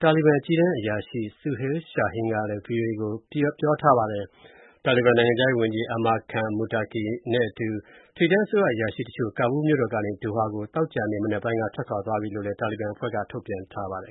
တာလီဘန် အကြီးတန်းအရာရှိ Suhail Shaheen ကလည်း ဗွီအိုအေကို အတည်ပြုထားပါတယ်။ တာလီဘန် နိုင်ငံခြားရေးဝန်ကြီး Amir Khan Muttaqi နဲ့အတူ ထိပ်တန်းအစိုးရ အရာရှိတချို့ ကာဘူးလ်မြို့တော်ကနေ ဒိုဟာကို သောကြာနေ့ မနက်ပိုင်းက ထွက်ခွာသွားပြီ ဆိုတာကို တာလီဘန်အဖွဲ့ကလည်း ထုတ်ပြန်ထားပါတယ်